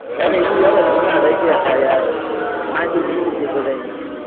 player બી હવે જુના થઇ ગયા છે યાર નીકળી ગઈ છે બધા ની